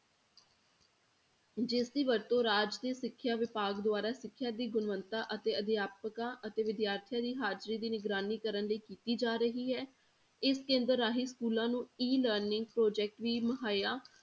ਜਿਸਦੀ ਵਰਤੋਂ ਰਾਜ ਦੇ ਸਿੱਖਿਆ ਵਿਭਾਗ ਦੁਆਰਾ ਸਿੱਖਿਆ ਦੀ ਗੁਣਵਤਾ ਅਤੇ ਅਧਿਆਪਕਾਂ ਅਤੇ ਵਿਦਿਆਰਥੀਆਂ ਦੀ ਹਾਜ਼ਰੀ ਦੀ ਨਿਗਰਾਨੀ ਕਰਨ ਲਈ ਕੀਤੀ ਜਾ ਰਹੀ ਹੈ ਇਸ ਕੇਂਦਰ ਰਾਹੀਂ schools ਨੂੰ E learning project ਵੀ ਮੁਹੱਈਆ